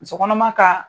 Muso kɔnɔma ka